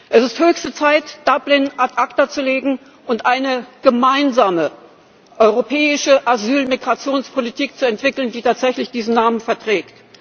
Es ist höchste Zeit, Dublin ad acta zu legen und eine gemeinsame europäische Asyl Migrationspolitik zu entwickeln, die tatsächlich diesen Namen verdient.